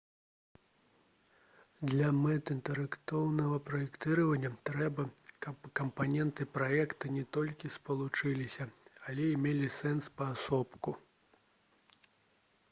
для мэт інтэрактыўнага праектавання трэба каб кампаненты праекта не толькі спалучаліся але і мелі сэнс паасобку